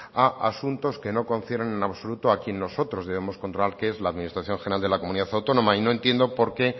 a asuntos que no concierne en absoluto a quien nosotros debemos controlar que es la administración general de la comunidad autónoma y no entiendo por qué